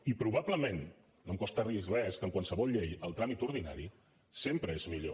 i probablement no em costa dir los res que en qualsevol llei el tràmit ordinari sempre és millor